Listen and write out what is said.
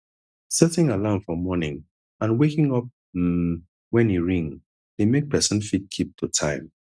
setting alarm for morning and waking up um when e ring de make persin fit keep to time